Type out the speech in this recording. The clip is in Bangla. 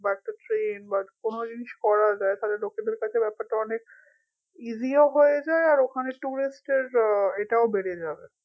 বা একটা train বা কোনো জিনিস করা যায় তাহলে লোকেদের কাছে ব্যাপারটা অনেক easy ও হয়ে যায় আর ওখানে tourist এর আহ এটাও বেড়ে যাবে